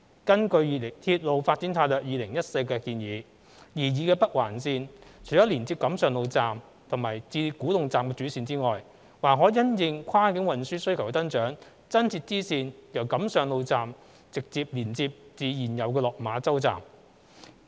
根據《鐵路發展策略2014》的建議，擬議的北環綫除了連接錦上路站至古洞站的主線外，還可因應跨境運輸需求的增長，增設支線由錦上路站直接連接至現有的落馬洲站。